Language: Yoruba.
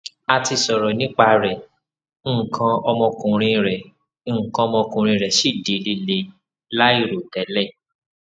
a ti sọrọ nipa rẹ nkan omokunrin re nkan omokunrin re si di lile lairotele